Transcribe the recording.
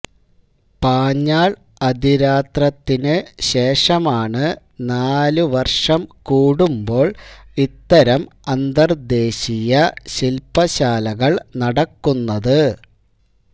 പാഞ്ഞാള് അതിരാത്രത്തിനു ശേഷമാണ് നാലുവര്ഷം കൂടുമ്പോള് ഇത്തരം അന്തര്ദ്ദേശീയ ശില്പശാലകള് നടക്കുന്നത്